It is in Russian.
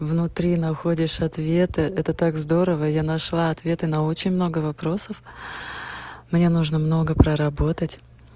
внутри находишь ответы это так здорово я нашла ответы на очень много вопросов мне нужно много проработать